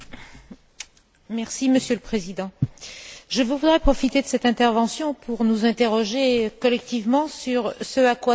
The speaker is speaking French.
Monsieur le Président, je voudrais profiter de cette intervention pour nous interroger collectivement sur ce à quoi sert le prix Sakharov.